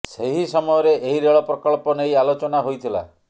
ସେହି ସମୟରେ ଏହି ରେଳ ପ୍ରକଳ୍ପ ନେଇ ଆଲୋଚନା ହୋଇଥିଲା